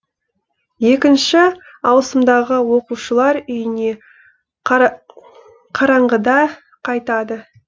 екінші ауысымдағы оқушылар үйіне қараңғыда қайтады